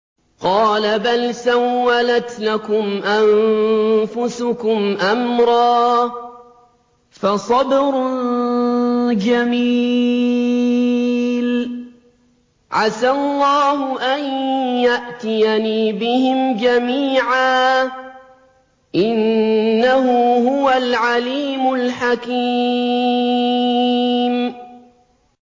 قَالَ بَلْ سَوَّلَتْ لَكُمْ أَنفُسُكُمْ أَمْرًا ۖ فَصَبْرٌ جَمِيلٌ ۖ عَسَى اللَّهُ أَن يَأْتِيَنِي بِهِمْ جَمِيعًا ۚ إِنَّهُ هُوَ الْعَلِيمُ الْحَكِيمُ